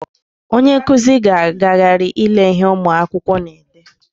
Onye nkụzi ga-agagharị ile ihe ụmụ akwụkwọ na-ede.